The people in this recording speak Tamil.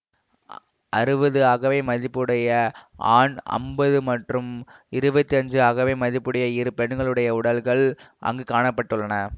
அறுபது அகவை மதிப்புடைய ஆண் ஐம்பது மற்றும் இருபத்தி ஐந்து அகவை மதிப்புடைய இரு பெண்களுடைய உடல்கள் அங்கு காண பட்டுள்ளன